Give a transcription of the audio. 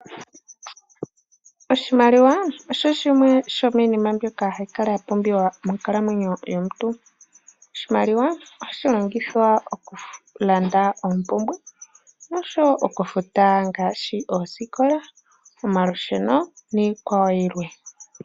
Oshimaliwa oshoshimwe shomiinina mboka hayi kala yampumbiwa monkalamwenyo yomuntu. Oshimaliwa ohashi longithwa okulanda oompumbwe nosho okufita ngaashi oosikola, omalusheno niikwawo yilwe.